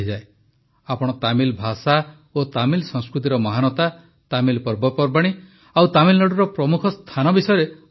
ଆପଣ ତାମିଲ୍ ଭାଷା ଓ ତାମିଲ୍ ସଂସ୍କୃତିର ମହାନତା ତାମିଲ୍ ପର୍ବପର୍ବାଣୀ ଓ ତାମିଲନାଡୁର ପ୍ରମୁଖ ସ୍ଥାନ ବିଷୟରେ ଆଲୋଚନା କରିଛନ୍ତି